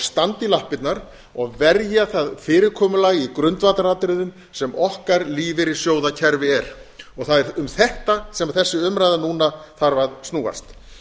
í lappirnar og verja það fyrirkomulag í grundvallaratriðum sem okkar lífeyrissjóðakerfi er það er um þetta sem þessi umræða núna þarf að snúast